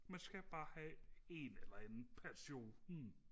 man skal bare have en eller anden passion